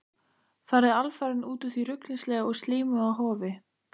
Farið alfarinn út úr því ruglingslega og slímuga hofi.